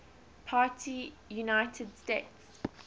party united states